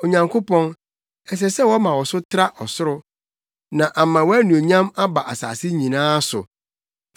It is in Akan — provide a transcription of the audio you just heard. Onyankopɔn, ɛsɛ sɛ wɔma wo so tra ɔsoro, na ama wʼanuonyam aba asase nyinaa so.